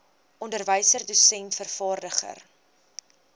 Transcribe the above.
onderwyser dosent vervaardiger